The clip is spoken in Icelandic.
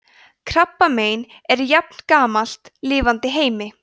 krabbamein er jafngamalt lifandi heimi